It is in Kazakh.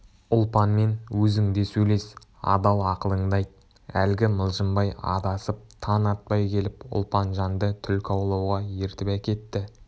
ұлпанмен өзің де сөйлес адал ақылыңды айт әлгі мылжыңбай адасып таң атпай келіп ұлпанжанды түлкі аулауға ертіп әкетті